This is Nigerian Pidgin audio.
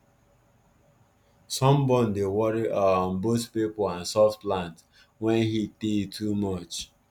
sunburn dey worry um both pipo and soft plant wen heat tey too much